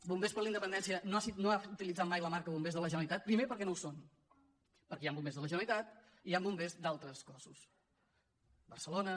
bombers per la independència no ha utilitzat mai la marca bombers de la generalitat primer perquè no ho són perquè hi ha bombers de la generalitat i hi ha bombers d’altres cossos barcelona